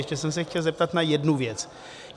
Ještě jsem se chtěl zeptat na jednu věc.